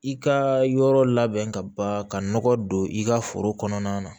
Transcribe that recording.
I ka yɔrɔ labɛn ka ban ka nɔgɔ don i ka foro kɔnɔna na